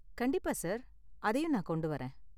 கண்டிப்பா, சார்! அதையும் நான் கொண்டு வரேன்.